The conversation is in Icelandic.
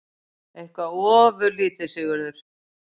Eitthvað ofurlítið, Sigurður?